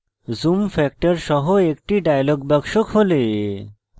zoom factor % সহ একটি dialog box খোলে